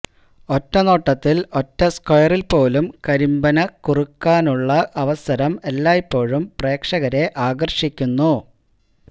ഒറ്റനോട്ടത്തിൽ ഒറ്റ സ്ക്വയറിൽ പോലും കരിമ്പനക്കുറുക്കാനുള്ള അവസരം എല്ലായ്പ്പോഴും പ്രേക്ഷകരെ ആകർഷിക്കുന്നു